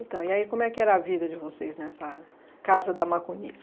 Então, e aí como é que era a vida de vocês nessa casa da Macunis?